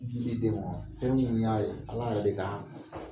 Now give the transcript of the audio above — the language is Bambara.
fɛn minnu y'a ye Ala yɛrɛ de ka